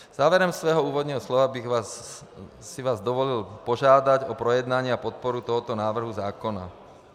Závěrem svého úvodního slova bych si vás dovolil požádat o projednání a podporu tohoto návrhu zákona.